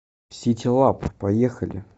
ситилаб поехали